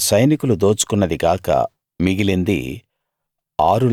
ఆ సైనికులు దోచుకున్నది గాక మిగిలింది